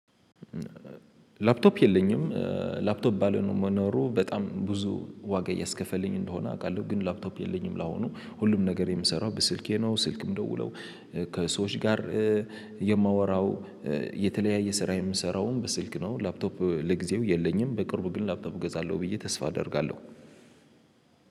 ላፕቶፕ የለኝም። ላፕቶፕ ባለመኖረው በጣም ብዙ ዋጋ እያስከፈልኝ እንደሆነ አውቃለሁ። ግን ላፕቶፕ የለኝም ላሁኑ ሁሉም ነገር የምሰራው በስልኬ ነው። ስልክም ምደውለው ከሰዎች ጋር። የተለያየ ስራ የምሰራውም በስልክ ነው። ላፕቶፕ ለጊዜው የለኝም። በቅርቡ ግን ላፕቶፕ እገዛለሁ ብዬ ተስፋ አደርጋለሁ።